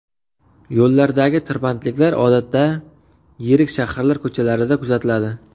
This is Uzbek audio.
Yo‘llardagi tirbandliklar odatda yirik shaharlar ko‘chalarida kuzatiladi.